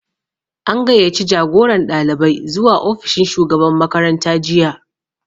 An gayyaci jagoran ɗalibai zuwa ofishin shugaban makaranta jiya